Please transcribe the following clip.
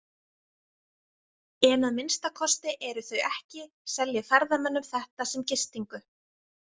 En að minnsta kosti eru þau ekki selja ferðamönnum þetta sem gistingu.